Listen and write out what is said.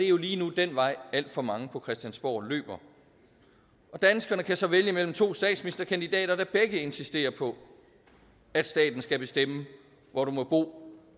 jo lige nu den vej alt for mange på christiansborg løber danskerne kan så vælge mellem to statsministerkandidater der begge insisterer på at staten skal bestemme hvor du må bo